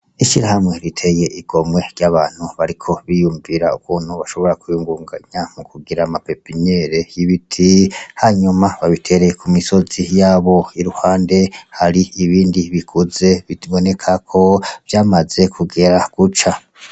Ishirahamwe riteye igomwe ry'abantu bariko biyumvira ukuntu bashobora kwiyungunganya mu kugira ama pepiniyeri y'ibiti, hanyuma babitere ku misozi y'abo. Iruhande hari ibindi bikuze biboneka ko vyamaze kugera guca.